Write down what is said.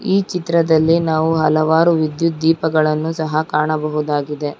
ಈ ಚಿತ್ರದಲ್ಲಿ ನಾವು ಹಲವಾರು ವಿದ್ಯುತ್ ದೀಪಗಳನ್ನು ಸಹ ಕಾಣಬಹುದಾಗಿದೆ.